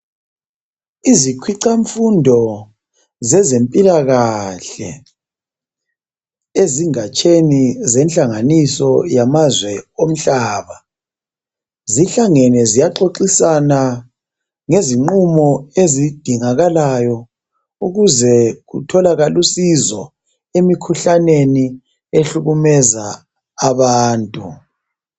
Izikhwicamfundo zezempilakahle ezingatsheni zenhlanganiso yamazwe omhlaba, zihlangene ziyaxoxisana ngezinqumo ezidingakalayo ukuze kutholakal' usizo emikhuhlaneni ehlukumeza abantu.